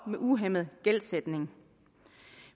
en uhæmmet gældsætning